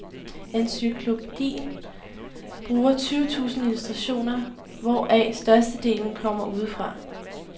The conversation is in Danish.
Encyklopædien bruger tyve tusind illustrationer, hvoraf størstedelen kommer udefra.